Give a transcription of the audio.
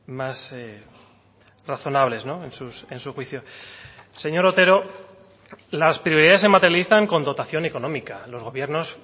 más razonables en su juicio señor otero las prioridades se materializan con dotación económica los gobiernos